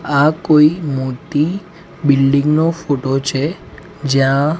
આ કોઇ મોટી બિલ્ડીંગ નો ફોટો છે જ્યાં--